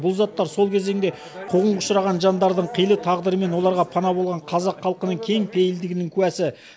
бұл заттар сол кезеңде қуғынға ұшыраған жандардың қилы тағдыры мен оларға пана болған қазақ халқының кең пейілдігінің куәсі